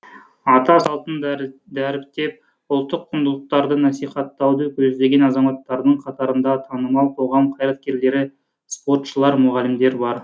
ата салтын дәріптеп ұлттық құндылықтарды насихаттауды көздеген азаматтардың қатарында танымал қоғам қайраткерлері спортшылар мұғалімдер бар